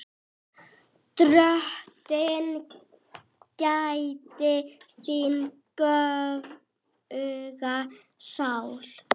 Drottin gæti þín göfuga sál.